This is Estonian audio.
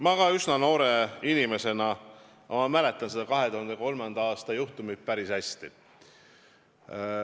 Ma olen küll üsna noor inimene, aga mäletan seda 2003. aasta juhtumit päris hästi.